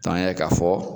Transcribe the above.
an y'a ye k'a fɔ